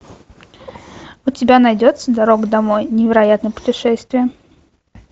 у тебя найдется дорога домой невероятное путешествие